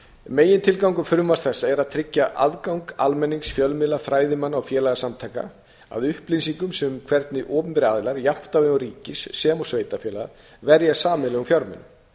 megintilgangur frumvarps þessa er að tryggja aðgang almennings fjölmiðla fræðimanna og félagasamtaka að upplýsingum um hvernig opinberir aðilar jafnt á vegum ríkis sem sveitarfélaga verja a eigin erum fjármunum